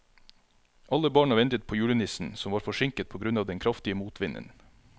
Alle barna ventet på julenissen, som var forsinket på grunn av den kraftige motvinden.